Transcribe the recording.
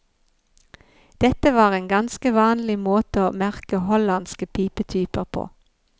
Dette var en ganske vanlig måte å merke hollandske pipetyper på.